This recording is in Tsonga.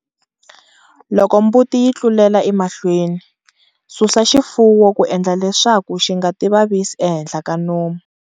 Loko mbuti yi tlulela emahlweni, susa xifuwo ku endla leswaku xi nga tivavisi ehenhla ka nomu.